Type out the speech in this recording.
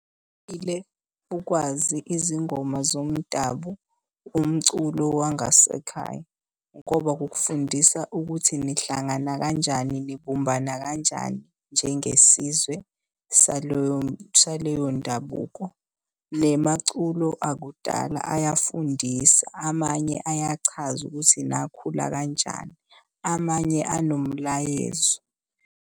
Ukwazi izingoma zomdabu, umculo wangasekhaya ngoba kukufundisa ukuthi nihlangana kanjani, nibumbana kanjani njengesizwe saleyo ndabuko. Nemaculo akudala ayafundisa, amanye ayachaza ukuthi nakhula kanjani, amanye anomlayezo.